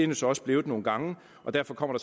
jo så også blevet nogle gange og derfor kommer